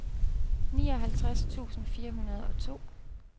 nioghalvtreds tusind fire hundrede og to